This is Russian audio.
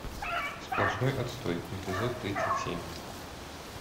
сплошной отстой эпизод тридцать семь